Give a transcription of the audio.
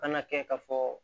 Kana kɛ ka fɔ